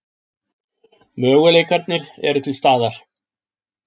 Möguleikarnir eru til staðar.